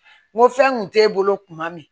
N ko fɛn kun t'e bolo kuma min